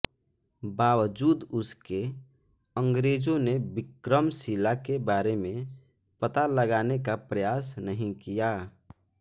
बावजूद उसके अंग्रेज़ों ने विक्रमशिला के बारे में पता लगाने का प्रयास नहीं किया